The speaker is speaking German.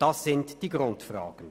Das ist die Grundfrage.